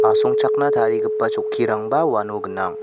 asongchakna tarigipa chokkirangba uano gnang.